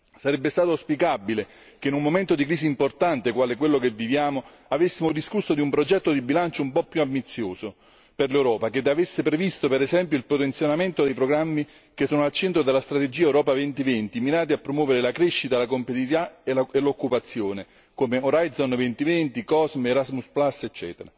Sarebbe stato auspicabile che in un momento di crisi importante, quale quello che viviamo avessimo discusso di un progetto di bilancio un po' più ambizioso per l'Europa, che avesse previsto per esempio il potenziamento dei programmi che sono al centro della strategia Europa 2020 mirati a promuovere la crescita, la competitività e l'occupazione, come Orizzonte 2020, COSMOS, Erasmus Place, ecc.